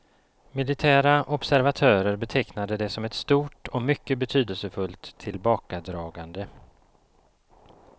Militära observatörer betecknade det som ett stort och mycket betydelsefullt tillbakadragande.